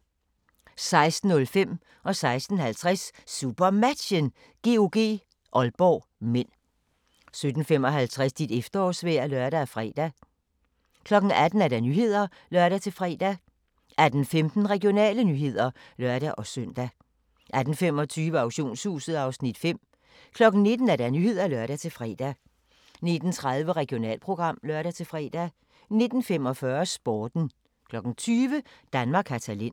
16:05: SuperMatchen: GOG-Aalborg (m) 16:50: SuperMatchen: GOG-Aalborg (m) 17:55: Dit efterårsvejr (lør-fre) 18:00: Nyhederne (lør-fre) 18:15: Regionale nyheder (lør-søn) 18:25: Auktionshuset (Afs. 5) 19:00: Nyhederne (lør-fre) 19:30: Regionalprogram (lør-fre) 19:45: Sporten 20:00: Danmark har talent